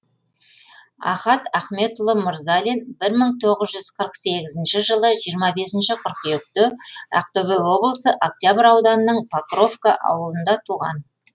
ахат ахметұлы мырзалин бір мың тоғыз жүз қырық сегізінші жылы жиырма бесінші қыркүйекте ақтөбе облысы октябрь ауданының покровка ауылында туған